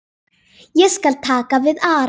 Ég skal taka við Ara.